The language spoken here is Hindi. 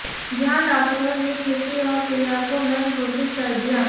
जहां डॉक्टरों ने खुशी और प्रिया को मृत घोषित कर दिया